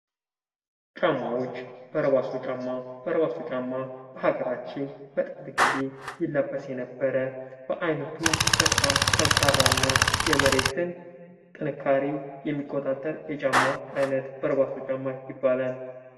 ጫማዎች፦ በረባሶ ጫማ ፦ በረባሶ ጫማ በሀገራችን በጥንት ጊዜ ይለበስ የነበረ በዓይነቱ በጣም ጠንካራ እና የመሬትን ጥንካሬ የሚቆጣጠር የጫማ አይነት በርባሶ ጫማ ይባላል ።